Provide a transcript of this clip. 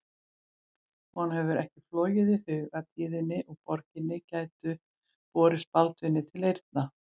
Honum hafði ekki flogið í hug að tíðindi úr borginni gætu borist Baldvini til eyrna.